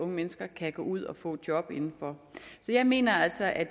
mennesker kan gå ud og få job inden for så jeg mener altså at